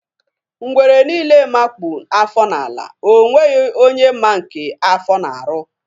Ngwere niile makpu afọ n'ala, ọ nweghị onye ma nke afọ na-arụ.